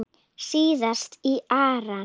Síðast í Íran.